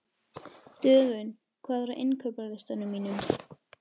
Dögun, hvað er á innkaupalistanum mínum?